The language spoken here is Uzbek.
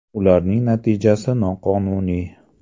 Ularning natijasi noqonuniy.